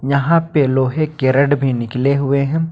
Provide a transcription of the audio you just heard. यहां पे लोहे के रेड भी निकले हुए हैं।